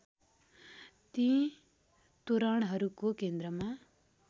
ती तोरणहरूको केन्द्रमा